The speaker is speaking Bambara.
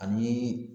Ani